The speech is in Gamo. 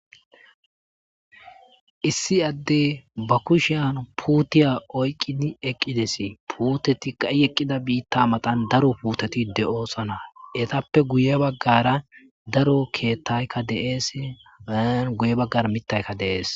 issi addey ba kushiyan puutiya oyqqidi eqqidesi puuteti i eqqida biitta matan daro puuteti de'oosana etappe guye baggara daro keettaykka de'es guye baggara mittaykka dee'es